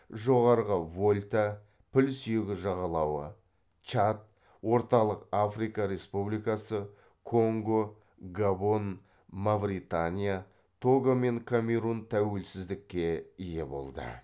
жоғарғы вольта піл сүйегі жағалауы чад орталық африка республикасы конго габон мавритания того мен камерун тәуелсіздікке ие болды